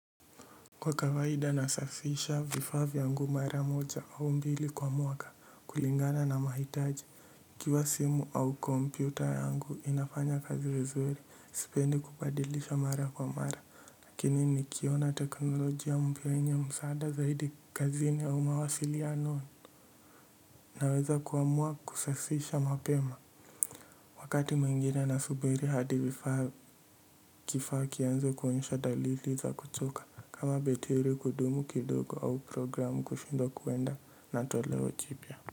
Kwa kawaida nasafisha vifaa vyangu mara moja au mbili kwa mwaka kulingana na mahitaji kiwa simu au kompyuta yangu inafanya kazi vizuri sipendi kubadilisha mara kwa mara lakini nikiona teknolojia mpya yenye msaada zaidi kazini au mawasiliano naweza kuamua kusafisha mapema. Wakati mwingine nasubiri hadi vifaa kifaa ikianza kuonyesha dalili za kuchoka. Kama betiri kudumu kidogo au programu kushindwa kuenda na toleo jipya.